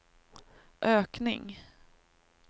ökning